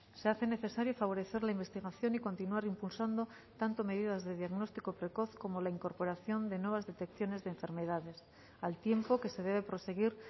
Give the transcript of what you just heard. se hace necesario favorecer la investigación y continuar impulsando tanto medidas de diagnóstico precoz como la incorporación de nuevas detecciones de enfermedades al tiempo que se debe proseguir